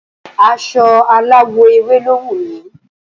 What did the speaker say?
Aso aláwọ̀ ewe lo wu mi